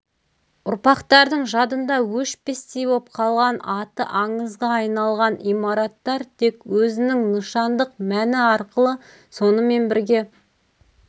ұрпақтардың жадында өшпестей боп қалған аты аңызға айналған имараттар тек өзінің нышандық мәні арқылы сонымен бірге